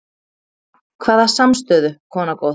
Hvaða samstöðu, kona góð?